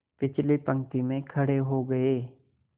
पिछली पंक्ति में खड़े हो गए